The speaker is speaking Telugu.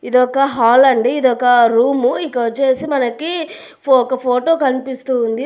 ఇదొక ఒక హాల్ అండి ఇదొక రూము ఇక్కడ వచ్చేసి మనకి ఒక ఫోటో కనిపిస్తూ ఉంది.